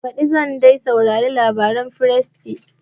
Daga baɗi zan dai sauraron labaren frestige